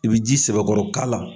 I bɛ ji sɛbɛkɔrɔkala.